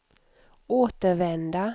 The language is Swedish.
återvända